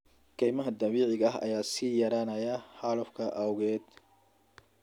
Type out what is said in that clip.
Kaymaha dabiiciga ah ayaa sii yaraanaya xaalufka awgeed.